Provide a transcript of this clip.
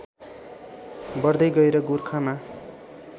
बढ्दै गए र गोरखामा